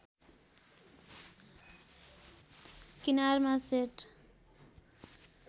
किनारमा सेट